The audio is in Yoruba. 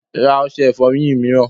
Ra ọṣẹ ìfọyín mìíràn!